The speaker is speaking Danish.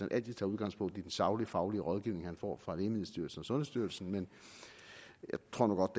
altid tager udgangspunkt i den saglige faglige rådgivning han får fra lægemiddelstyrelsen og sundhedsstyrelsen men jeg tror nu godt